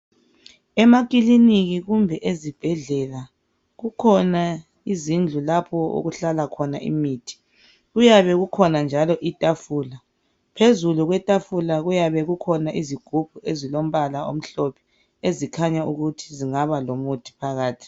Emakilinika kumbe ezibhedlela kukhona izindlu lapho okuhlala khona imithi. Kuyabe kukhon njalo itafula. Phezulu kwetafula kuybe kukhona izigubhu ezilombala omhlophe ezikhanya ukuthi zingaba lomuthi phakathi.